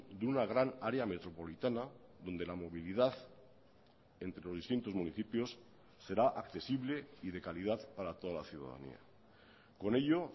de una gran área metropolitana donde la movilidad entre los distintos municipios será accesible y de calidad para toda la ciudadanía con ello